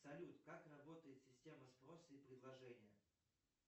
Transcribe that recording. салют как работает система спроса и предложения